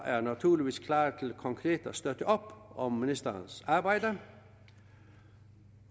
er naturligvis klar til konkret at støtte op om ministerens arbejde